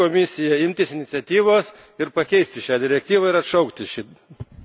Todėl kviečiu Komisiją imtis iniciatyvos ir pakeisti šią direktyvą ir atšaukti